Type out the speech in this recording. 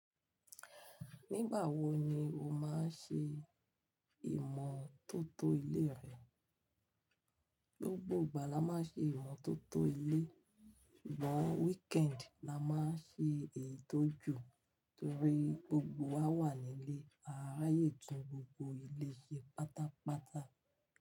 Nígbà wo ni o máa ń ṣe ìmọ̀tótó ilé rẹ? Gbọ̀gbọ̀ igbá la máa ń ṣe ìmọ̀tótó ilé, ṣùgbọ́n weekend la máa ń ṣe ètò jù torí gbogbo wa wà nílé, a ráyè tún gbogbo ilé ṣe pátápátá.